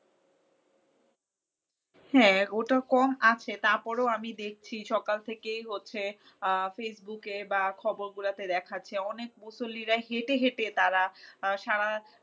হ্যাঁ ওটা কম আছে তারপরেও আমি দেখছি সকাল থেকেই হচ্ছে আহ ফেসবুকে বা খবরগুলোতে দেখাচ্ছে অনেক মুসল্লিরা হেঁটে হেঁটে তারা সারা রাস্তা